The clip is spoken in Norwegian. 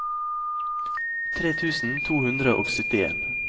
tre tusen to hundre og syttien